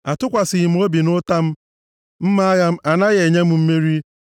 Atụkwasịghị m obi m nʼụta m, mma agha m anaghị enye m mmeri;